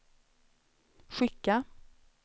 skicka